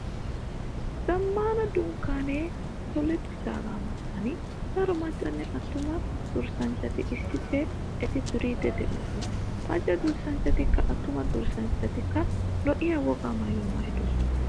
Zammaana dunkkaanee tolettidaagaa matan daro maccanne attuma durssanchchati issippe iita duriiddi de"oosona. Macca durssanchchatikka, attuma durssanchchatikka lo'iya wogaa maayuwaa maayidosona.